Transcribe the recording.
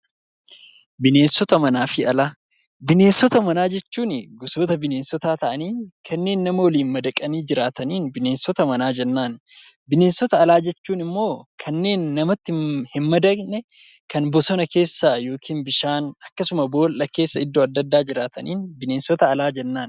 Bineensota manaa jechuun gosoota bineensotaa ta'anii kanneen nama waliin madaqaniin bineensota manaa jennaan. Bineensota alaa jechuun immoo kanneen namatti hin madaqne kanneen bosona keessa, bishaan keessa akkasumas boolla keessa iddoo adda addaa jiraataniin bineensota alaa jennaan.